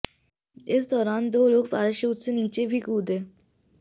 इस दौरान दो लोग पैराशूट से नीचे भी कूदे